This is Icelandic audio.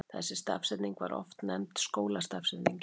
Þessi stafsetning var oft nefnd skólastafsetningin.